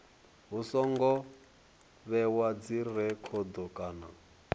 hu songo vhewa dzirekhodo kana